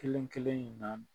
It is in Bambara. Kelen-kelen in na